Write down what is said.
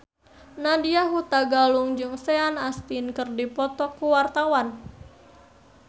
Nadya Hutagalung jeung Sean Astin keur dipoto ku wartawan